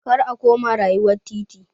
Kar a koma rayuwar titi!